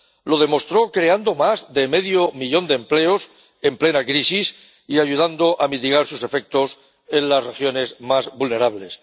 Lo demostró creando más de medio millón de empleos en plena crisis y ayudando a mitigar sus efectos en las regiones más vulnerables.